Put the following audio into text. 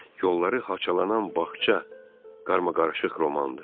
Yolları haçalanan bağça qarmaqarışıq romandır.